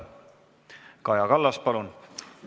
Kaja Kallas, palun!